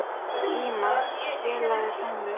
Íma, spilaðu tónlist.